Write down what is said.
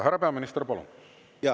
Härra peaminister, palun!